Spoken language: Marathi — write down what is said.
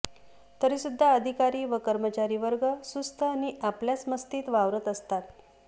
तरीसुद्धा अधिकारी व कर्मचारी वर्ग सुस्त नि आपल्याच मस्तीत वावरत असतात